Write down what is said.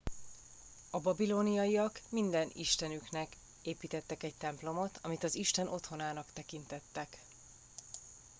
a babiloniak minden istenüknek építettek egy templomot amit az isten otthonának tekintettek